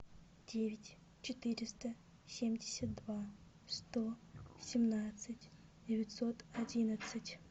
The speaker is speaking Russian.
девять четыреста семьдесят два сто семнадцать девятьсот одиннадцать